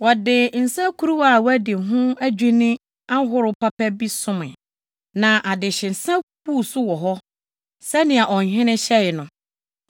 Wɔde nsakuruwa a wɔadi ho adwinni ahorow papa bi somee, na adehyesa buu so wɔ hɔ, sɛnea ɔhene hyɛe no.